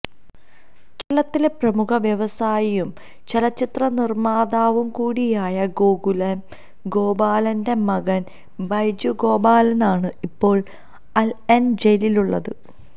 കേരളത്തിലെ പ്രമുഖ വ്യവസായിയും ചലച്ചിത്ര നിര്മാതാവുകൂടിയായ ഗോകുലം ഗോപാലന്റെ മകന് ബൈജു ഗോപാലനാണ് ഇപ്പോള് അല് ഐന് ജയിലുള്ളത്